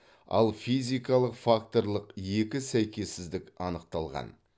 ал физикалық факторлық екі сәйкессіздік анықталған